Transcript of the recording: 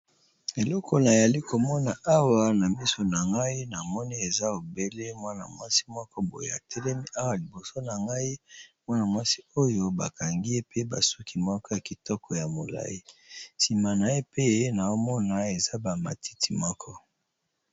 Eleko nayali komona awa na biso na ngai na mone eza obele mwana mwasi moko boyea telemi awa liboso na ngai mwana-mwasi oyo bakangi ye pe basuki moko ya kitoko ya molai nsima na ye pe ye na omona eza bamatiti moko.